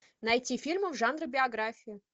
найти фильмы в жанре биография